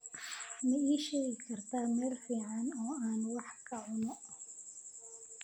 ma ii sheegi kartaa meel fiican oo aan wax ka cuno